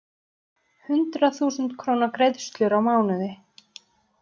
Hundrað þúsund króna greiðslur á mánuði.